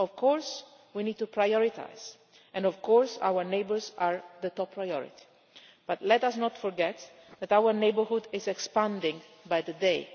Of course we need to prioritise, and of course our neighbours are the top priority, but let us not forget that our neighbourhood is expanding by the day.